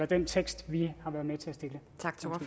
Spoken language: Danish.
den tekst vi